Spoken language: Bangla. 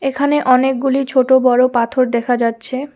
এখানে অনেকগুলি ছোটো বড়ো পাথর দেখা যাচ্ছে।